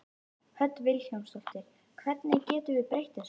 Hödd Vilhjálmsdóttir: Hvernig getum við breytt þessu?